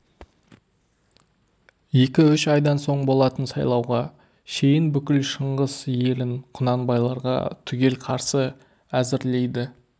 екі-үш айдан соң болатын сайлауға шейін бүкіл шыңғыс елін құнанбайларға түгел қарсы әзірлейді